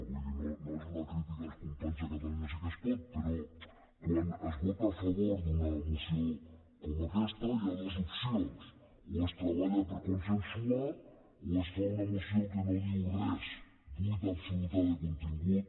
vull dir no és una crítica als companys de catalunya sí que es pot però quan es vota a favor d’una moció com aquesta hi ha dues opcions o es treballa per consensuar o es fa una moció que no diu res buida absoluta de contingut